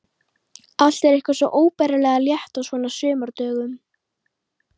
Allt er eitthvað svo óbærilega létt á svona sumardögum.